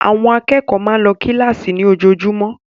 Àwọn akẹ́kọ̀ọ́ máa ń lọ kíláàsì ní ojoojúmọ́